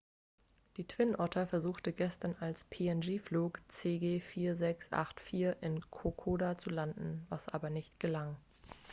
die twin otter versuchte gestern als png-flug cg4684 in kokoda zu landen was aber nicht gelang